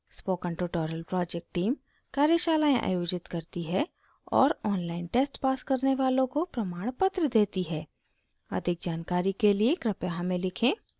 spoken tutorial project team कार्यशालाएं आयोजित करती है और online test pass करने वालों को प्रमाणपत्र देती है अधिक जानकारी के लिए कृपया हमें लिखें